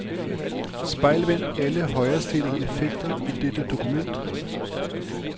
Spejlvend alle højrestillede effekter i dette dokument.